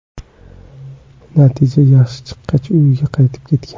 Natija yaxshi chiqqach, uyiga qaytib ketgan.